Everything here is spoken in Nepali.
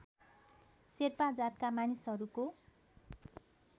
शेर्पा जातका मानिसहरूको